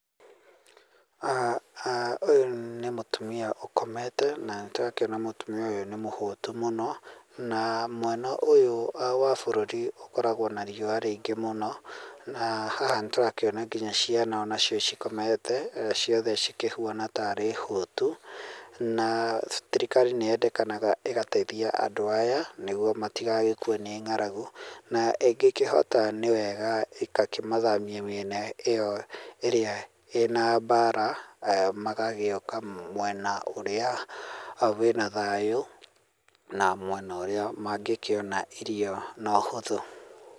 [Aaah] aah ũyũ nĩ mũtumia ũkomete na nĩtũrakĩona mũtumia ũyũ nĩ mũhũtu mũno na mwena ũyũ wa bũrũri ũkoragwo na riũa rĩingĩ mũno na haha nĩtũrakĩona nginya ciana onacio cikomete ciothe cikĩhuana tairĩ hũtu na thirikari nĩyendekanaga ĩgateithia andũ aya nĩguo matigagĩkue nĩ ng'arangu na ĩngĩkĩhota nĩ wega ĩgakĩmathamio mĩena ĩyo ĩrĩa ĩna na mbara magagĩũka mwena ũrĩa wĩna thayũ na mwena ũrĩa mangĩkĩona irio na ũhũthũ.